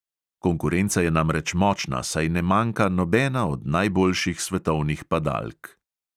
Konkurenca je namreč močna, saj ne manjka nobena od najboljših svetovnih padalk.